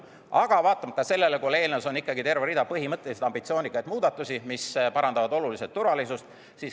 Aga vaatamata sellele on eelnõus terve rida põhimõttelisi ambitsioonikaid muudatusi, mis parandavad oluliselt turvalisust.